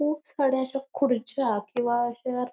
खूप साड्या अशा खुर्च्या किंवा चेअर --